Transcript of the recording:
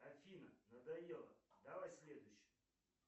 афина надоело давай следующую